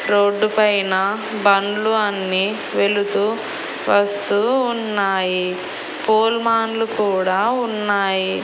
Road పైన బండ్లు అన్ని వెళుతూ వస్తూ ఉన్నాయి పోల్ మాన్ లు కూడా ఉన్నాయి.